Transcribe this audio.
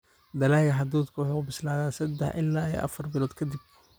Dalagga hadhuudhku waxa uu bislaadaa sadah ila iyo afar bilood ka dib.